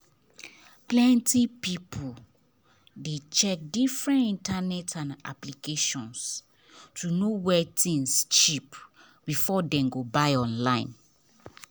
plenty people dey check different internet and applications to know where things cheap before dem go buy online.